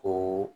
Ko